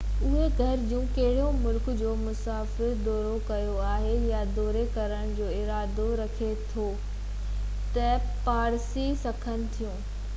اهي گهرجون ڪهڙي ملڪ جو مسافر دورو ڪيو آهي يا دوري ڪرڻ جو ارادو رکي ٿو تي ڀاڙي سگهن ٿيون